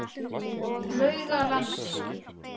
Laugalandi